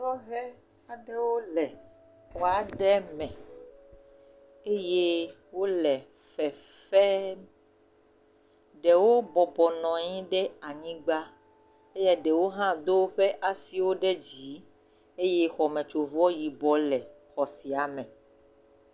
Sɔhɛ aɖewo le xɔa ɖe me eye wole fefem. Ɖewo bɔbɔ nɔ anyi ɖe anyigba eye ɖewo hã Do woƒe asiwò ɖe dzi eye xɔme tso vɔ yibɔ le xɔ sia me